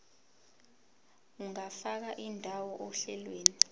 ungafaka indawo ohlelweni